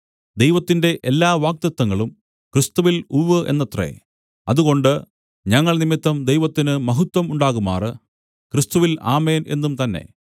ദൈവത്തിന്റെ എല്ലാ വാഗ്ദത്തങ്ങളും ക്രിസ്തുവിൽ ഉവ്വ് എന്നത്രേ അതുകൊണ്ട് ഞങ്ങൾനിമിത്തം ദൈവത്തിന് മഹത്വം ഉണ്ടാകുമാറ് ക്രിസ്തുവിൽ ആമേൻ എന്നും തന്നെ